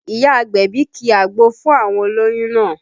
Ìyá agbẹ̀bí ki àgbo fún àwọn olóyún náà